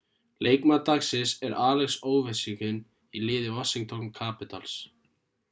leikmaður dagsins er alex ovechkin í liði washington capitals